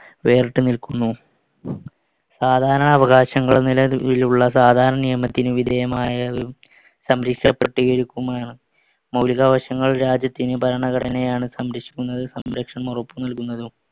വേറിട്ടു നിൽക്കുന്നു. സാധാരണ അവകാശങ്ങൾ നിലവിലുള്ള സാധാരണ നിയമത്തിന് വിധേയമായതും സംരിഷപെട്ടികരിക്കുമാണ്. മൗലികാവകാശങ്ങൾ രാജ്യത്തിന് ഭരണഘടനയാണ് സംരക്ഷിക്കുന്നത്, സംരക്ഷണം ഉറപ്പുനൽകുന്നതും.